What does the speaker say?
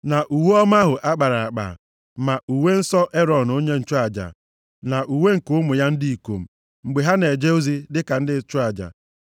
Na uwe ọma ahụ akpara akpa, ma uwe nsọ Erọn onye nchụaja na uwe nke ụmụ ya ndị ikom, mgbe ha na-eje ozi dịka ndị nchụaja.